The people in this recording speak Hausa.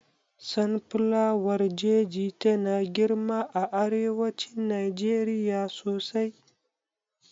Sun flawar jeji tana girma a arewacin Najeriya sosai